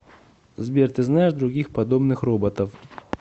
сбер ты знаешь других подобных роботов